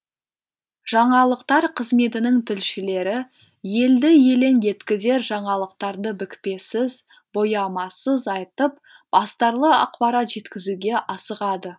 жаңалықтар қызметінің тілшілері елді елең еткізер жаңалықтарды бүкпесіз боямасыз айтып астарлы ақпарат жеткізуге асығады